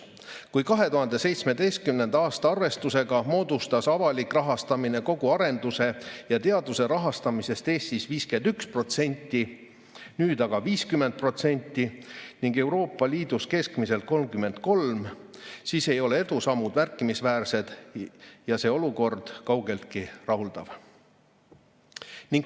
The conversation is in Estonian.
Kui 2017. aasta arvestusega moodustas avalik rahastamine kogu teadus- ja arendustegevuse rahastamisest Eestis 51%, nüüd aga 50% ning Euroopa Liidus keskmiselt 33%, siis ei ole edusammud märkimisväärsed ja see olukord pole kaugeltki rahuldav.